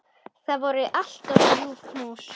Það voru alltaf ljúf knús.